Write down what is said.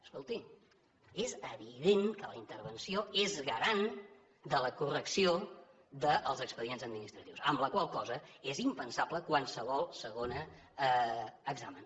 escolti és evident que la intervenció és garant de la correcció dels expedients administratius amb la qual cosa és impensable qualsevol segon examen